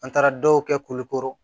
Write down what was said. An taara dɔw kɛ kolikoro